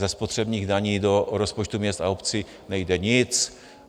Ze spotřebních daní do rozpočtu města a obcí nejde nic.